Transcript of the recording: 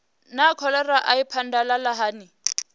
naa kholera i phadalala hani